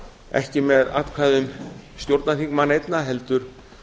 ekki með atkvæðum stjórnarþingmanna einna heldur